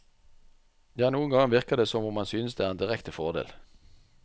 Ja, noen ganger virker det som om han synes det er en direkte fordel.